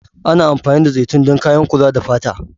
Ana amfani da zaitun don kayan kula da fata.